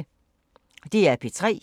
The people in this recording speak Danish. DR P3